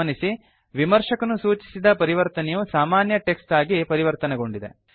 ಗಮನಿಸಿ ವಿಮರ್ಶಕನು ಸೂಚಿಸಿದ ಪರಿವರ್ತನೆಯು ಸಾಮಾನ್ಯ ಟೆಕ್ಸ್ಟ್ ಆಗಿ ಪರಿವರ್ತನೆಗೊಂಡಿದೆ